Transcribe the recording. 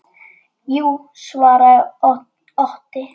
Jú, svaraði Otti.